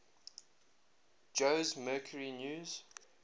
jose mercury news